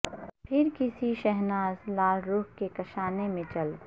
پھر کسی شہناز لالہ رخ کے کاشانے میں چل